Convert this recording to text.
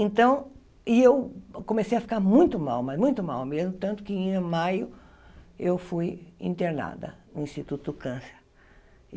Então, e eu comecei a ficar muito mal, mas muito mal mesmo, tanto que em maio eu fui internada no Instituto Câncer.